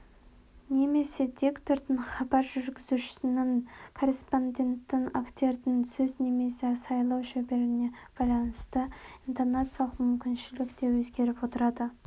немесе диктордың хабар жүргізушінің корреспонденттің актердің сөз өнері сөйлеу шеберлігіне байланысты интонациялық мүмкіншілік те өзгеріп отырады